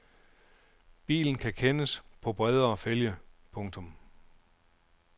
Bilen kan kendes på bredere fælge. punktum